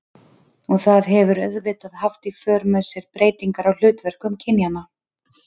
Og það hefur auðvitað haft í för með sér breytingar á hlutverkum kynjanna.